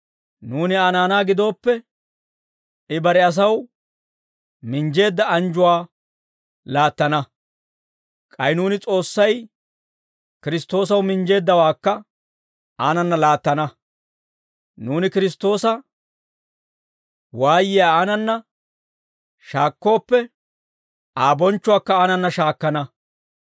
Nuuni Aa naanaa gidooppe, I bare asaw minjjeedda anjjuwaa laattana; k'ay nuuni S'oossay Kiristtoosaw minjjeeddawaakka aanana laattana; nuuni Kiristtoosa waayiyaa aanana shaakkooppe, Aa bonchchuwaakka aanana shaakkana.